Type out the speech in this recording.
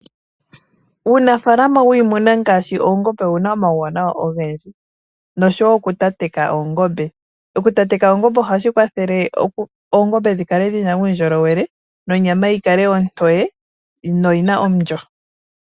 Uunafaalama wiimuna ngaashi oongombe owu na omauwanawa ogendji nosho wo okutateka oongombe. Okutateka oongombe ohashi kwathele oongombe dhi kale dhi na uundjolowele nonyama yi kale ontoye noyi na omulyo.